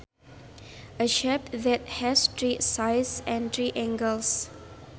A shape that has three sides and three angles